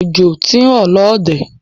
Ọjọ̀ tí n rọ̀ lóde